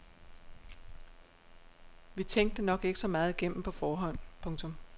Vi tænkte det nok ikke så meget igennem på forhånd. punktum